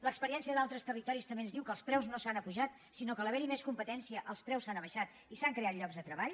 l’experiència d’altres territoris també ens diu que els preus no s’han apujat sinó que a l’haver hi més competència els preus s’han abaixat i s’han creat llocs de treball